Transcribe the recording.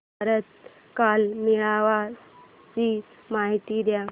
भारत कला मेळावा ची माहिती दे